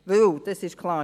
Denn es ist klar: